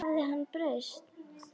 Hafði hann breyst?